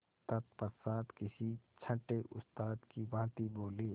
तत्पश्चात किसी छंटे उस्ताद की भांति बोले